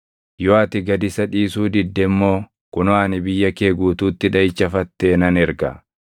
Yoo ati gad isa dhiisuu didde immoo kunoo ani biyya kee guutuutti dhaʼicha fattee nan erga.